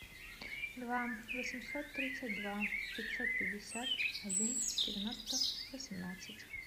два восемьсот тридцать два пятьсот пятьдесят один девяносто восемнадцать